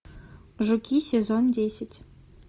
жуки сезон десять